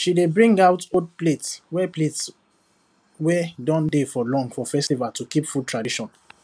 she dey bring out old plate wey plate wey don dey for long for festival to keep food tradition